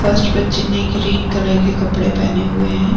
First बच्चे ने green colour के कपड़े पहने हुए हैं।